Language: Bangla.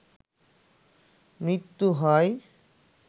মৃত্যু হয়